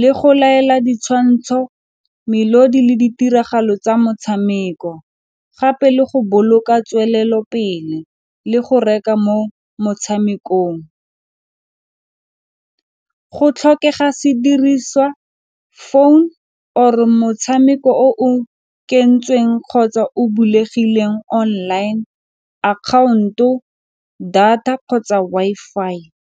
le go laela ditshwantsho, melodi le ditiragalo tsa motshameko, gape le go boloka tswelelopele le go reka mo motshamekong. Go tlhokega sediriswa phone or motshameko o ke kentsweng kgotsa o bulegileng online akhaonto data kgotsa Wi-Fi.